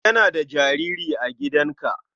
Yana da jariri a gidanka.